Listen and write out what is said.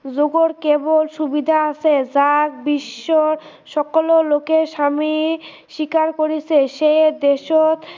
যোগৰ কেৱল সুবিধা আছে যাক বিশ্ৱৰ সকলো লোকে স্ৱামী স্ৱীকাৰ কৰিছে সেই দেশত